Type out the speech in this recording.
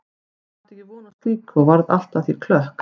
Ég átti ekki von á slíku og varð allt að því klökk.